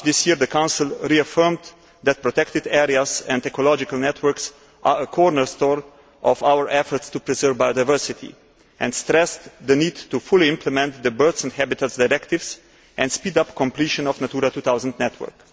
In March this year, the Council reaffirmed that protected areas and ecological networks are a cornerstone of our efforts to preserve biodiversity and stressed the need to fully implement the Birds and Habitats Directives and speed up completion of the Natura 2000 network.